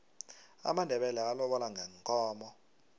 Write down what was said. amandebele alobola ngeenkomo